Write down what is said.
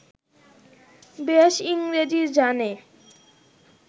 বেশ ইংরেজী জানে